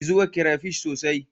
Ki zuba crayfish sosai